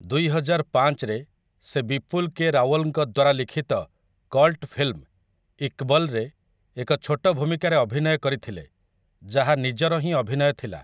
ଦୁଇହଜାର ପାଞ୍ଚରେ ସେ ବିପୁଲ କେ ରାୱଲଙ୍କ ଦ୍ୱାରା ଲିଖିତ କଲ୍ଟ ଫିଲ୍ମ 'ଇକ୍‌ବଲ୍‌'ରେ ଏକ ଛୋଟ ଭୂମିକାରେ ଅଭିନୟ କରିଥିଲେ, ଯାହା ନିଜର ହିଁ ଅଭିନୟ ଥିଲା ।